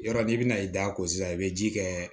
Yɔrɔ n'i bɛna i da ko sisan i bɛ ji kɛ